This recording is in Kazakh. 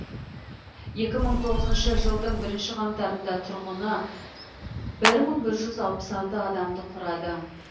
екі мың тоғызыншы жылдың бірінші қаңтарында тұрғыны бір мың бір жүз алпыс алты адамды құрады